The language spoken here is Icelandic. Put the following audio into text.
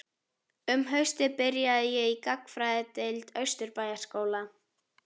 Um haustið byrjaði ég í Gagnfræðadeild Austurbæjarskóla.